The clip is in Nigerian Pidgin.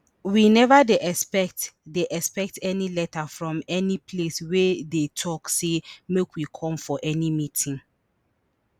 we neva dey expect dey expect any letter from any place wey dey tok say make we come for any meeting